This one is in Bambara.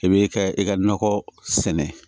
I bɛ ka i ka nakɔ sɛnɛ